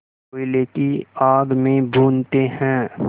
कोयले की आग में भूनते हैं